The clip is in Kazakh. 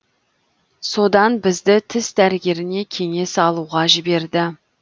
содан бізді тіс дәрігеріне кеңес алуға жіберді